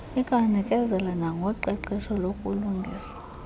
ikwanikezela nangoqeqesho lokulungisa